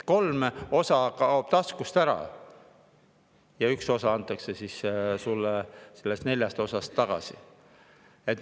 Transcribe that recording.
Kolm osa kaob taskust ära ja üks osa antakse sulle sellest neljast osast tagasi.